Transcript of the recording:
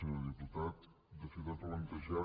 senyor diputat de fet ha plantejat